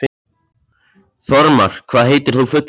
Þormar, hvað heitir þú fullu nafni?